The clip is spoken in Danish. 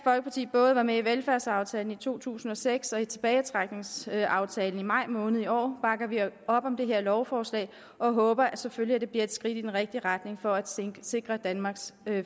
både var med i velfærdsaftalen i to tusind og seks og i tilbagetrækningsaftalen i maj måned i år bakker vi op om det her lovforslag og håber selvfølgelig at det bliver et skridt i den rigtige retning for at sikre danmarks